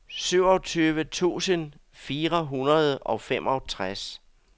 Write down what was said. syvogtyve tusind fire hundrede og femogtres